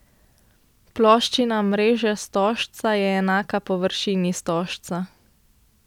Ploščina mreže stožca je enaka površini stožca.